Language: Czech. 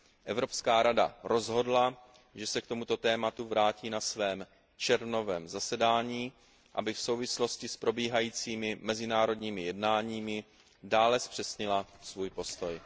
Evropská rada rozhodla, že se k tomuto tématu vrátí na svém červnovém zasedání, aby v souvislosti s probíhajícími mezinárodními jednáními dále zpřesnila svůj postoj.